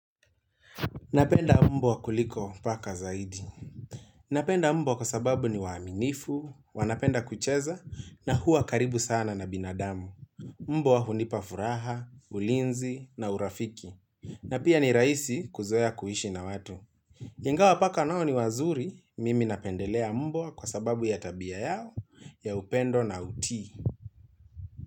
Napenda mbwa kuliko paka zaidi Napenda mbwa kwa sababu ni waaminifu, wanapenda kucheza na huwa karibu sana na binadamu Mbwa hunipa furaha, ulinzi na urafiki na pia ni rahisi kuzoea kuishi na watu Ingawa paka nao ni wazuri, mimi napendelea mbwa kwa sababu ya tabia yao, ya upendo na utii.